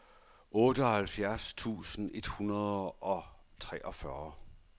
otteoghalvfjerds tusind et hundrede og treogfyrre